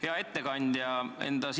Hea ettekandja!